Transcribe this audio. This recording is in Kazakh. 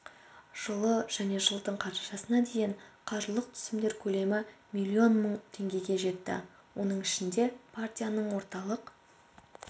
жылы және жылдың қарашасына дейін қаржылық түсімдер көлемі миллион мың теңгеге жетті оның ішінде партияның орталық